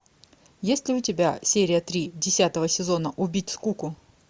есть ли у тебя серия три десятого сезона убить скуку